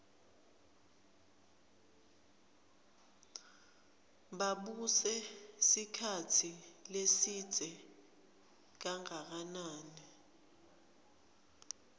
babuse sikhatsi lesidze kanganani